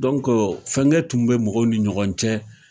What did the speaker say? Dɔnkɔ fankɛ tun bɛ mɔgɔw ni ɲɔgɔn cɛ.